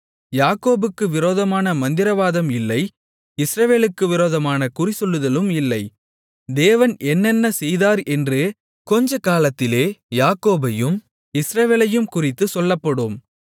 யாக்கோபுக்கு விரோதமான மந்திரவாதம் இல்லை இஸ்ரவேலுக்கு விரோதமான குறிசொல்லுதலும் இல்லை தேவன் என்னென்ன செய்தார் என்று கொஞ்சக்காலத்திலே யாக்கோபையும் இஸ்ரவேலையும் குறித்துச் சொல்லப்படும்